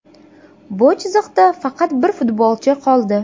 Bu chiziqda faqat bir futbolchi qoldi.